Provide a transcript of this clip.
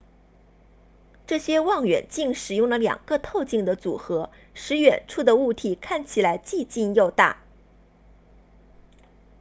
这些望远镜使用了两个透镜的组合使远处的物体看起来既近又大